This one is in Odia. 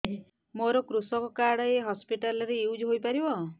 ମୋର କୃଷକ କାର୍ଡ ଏ ହସପିଟାଲ ରେ ୟୁଜ଼ ହୋଇପାରିବ